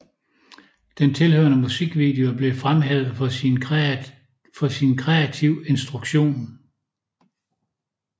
Den tilhørende musikvideo blev fremhævet for sin kreativ instruktion